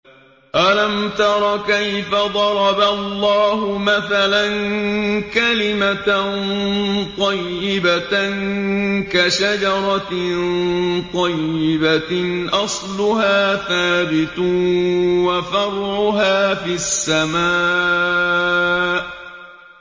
أَلَمْ تَرَ كَيْفَ ضَرَبَ اللَّهُ مَثَلًا كَلِمَةً طَيِّبَةً كَشَجَرَةٍ طَيِّبَةٍ أَصْلُهَا ثَابِتٌ وَفَرْعُهَا فِي السَّمَاءِ